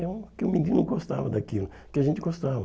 É o que o menino gostava daquilo, que a gente gostava.